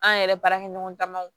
An yɛrɛ baarakɛ ɲɔgɔn damaw